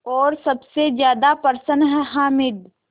और सबसे ज़्यादा प्रसन्न है हामिद